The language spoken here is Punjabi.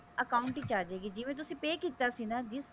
account ਚ ਆ ਜਾਵੇਗੀ ਜਿਵੇਂ ਤੁਸੀਂ pay ਕੀਤਾ ਸੀ ਨਾ gift